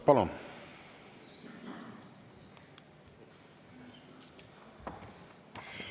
Palun!